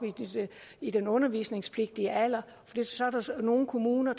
i den undervisningspligtige alder nogle kommuner